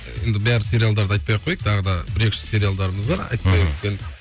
ііі енді бар сериалдарды айтпай ақ қояйық тағы да бір екі үш сериалдарымыз бар айтпай өткен мхм